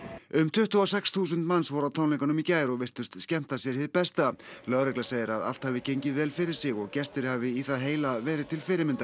um tuttugu og sex þúsund manns voru á tónleikunum í gær og virtust skemmta sér hið besta lögregla segir að allt hafi gengið vel fyrir sig og gestir hafi í það heila verið til fyrirmyndar